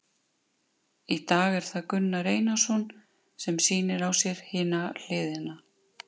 Í dag er það Gunnar Einarsson sem að sýnir á sér hina hliðina.